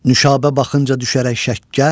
Nuşabə baxınca düşərək şəkkə.